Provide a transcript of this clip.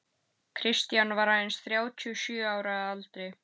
Kristján var aðeins þrjátíu og sjö ára að aldri.